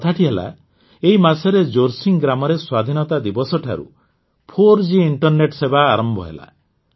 କଥାଟି ହେଲା ଏଇ ମାସରେ ଜୋରସିଙ୍ଗ ଗ୍ରାମରେ ସ୍ୱାଧୀନତା ଦିବସଠାରୁ ୪ଜି ଇଂଟରନେଟ୍ ସେବା ଆରମ୍ଭ ହେଲା